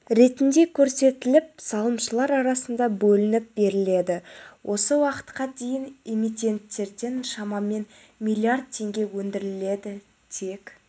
ретінде көрсетіліп салымшылар арасында бөлініп беріледі осы уақытқа дейін эмитенттерден шамаман миллиард теңге өндірілді тек